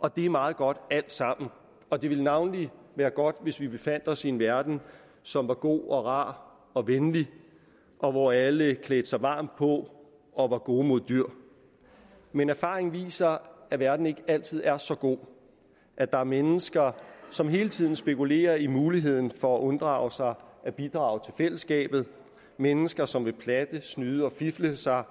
og det er meget godt alt sammen det ville navnlig være godt hvis vi befandt os i en verden som var god og rar og venlig og hvor alle klædte sig varmt på og var gode mod dyr men erfaringen viser at verden ikke altid er så god og at der er mennesker som hele tiden spekulerer i muligheden for at unddrage sig at bidrage til fællesskabet mennesker som vil platte snyde og fifle sig